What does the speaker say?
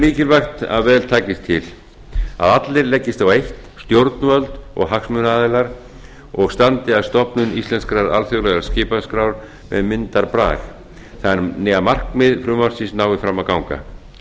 er mikilvægt að vel takist til að allir leggist á eitt stjórnvöld og hagsmunaaðilar og standi að stofnun íslenskrar alþjóðlegrar skipaskrár með myndarbrag þannig að markmið frumvarpsins nái fram að ganga